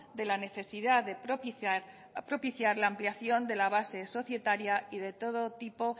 de la necesidad de propiciar la ampliación de la base societaria y de todo tipo